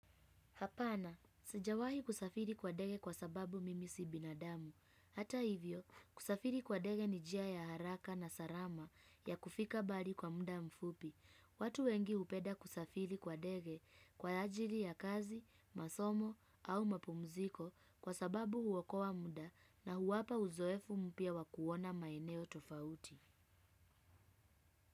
Hapana, sijawahi kusafiri kwa dege kwa sababu mimi si binadamu. Hata hivyo, kusafiri kwa dege ni jia ya haraka na sarama ya kufika bali kwa muda mfupi. Watu wengi hupeda kusafiri kwa dege kwa ajili ya kazi, masomo au mapumziko kwa sababu huwokoa mda na huwapa uzoefu mpya wakuona maeneo tofauti.